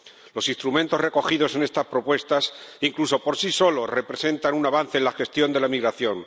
Los instrumentos recogidos en estas propuestas incluso por sí solos representan un avance en la gestión de la migración.